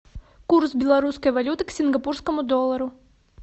курс белорусской валюты к сингапурскому доллару